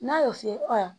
N'a y'o f'i ye ayi